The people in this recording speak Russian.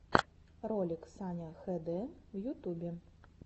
ролик саня хд в ютубе